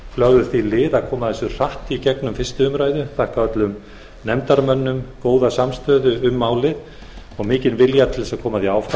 lögðu því lið að koma þessu hratt í gegnum fyrstu umræðu ég þakka öllum nefndarmönnum góða samstöðu um málið og mikinn vilja til þess að koma því áfram